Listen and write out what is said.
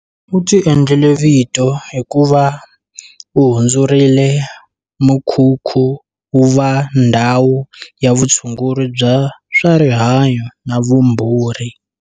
U ti endlele vito hikuva u hundzurile mukhukhu wu va ndhawu ya vutshunguri bya swa rihanyu na vumbhuri.